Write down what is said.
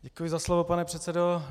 Děkuji za slovo, pane předsedo.